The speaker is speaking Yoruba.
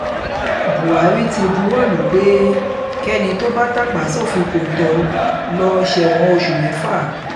buhari ti buwọ́lù u pé kẹ́ni tó bá tàpá sófin kọ́ńtò lọ́ọ́ sẹ́wọ̀n oṣù mẹ́fà